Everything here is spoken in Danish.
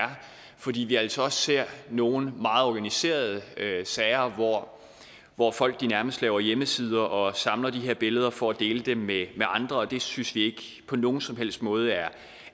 fordi vi altså også ser nogle meget organiserede sager hvor folk nærmest laver hjemmesider og samler de her billeder for at dele dem med andre det synes vi ikke på nogen som helst måde er